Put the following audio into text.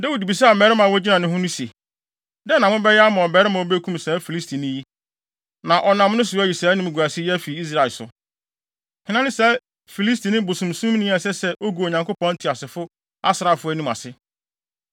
Dawid bisaa mmarima a wogyina ne ho no se, “Dɛn na mobɛyɛ ama ɔbarima a obekum saa Filistini yi, na ɔnam so ayi saa animguase yi afi Israel so? Hena ne saa Filistini bosonsomni yi a ɛsɛ sɛ ogu Onyankopɔn Teasefo asraafo anim ase?”